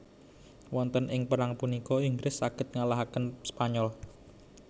Wonten ing perang punika Inggris saged ngalahaken Spanyol